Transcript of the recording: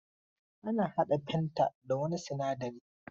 Ana hada fanta da wani sinadari.